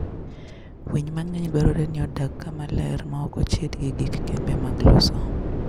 Winy mang'eny dwarore ni odag kama ler maok ochid gi gik ma kembe mag loso.